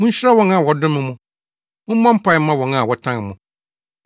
Munhyira wɔn a wɔdome mo; mommɔ mpae mma wɔn a wɔtan mo.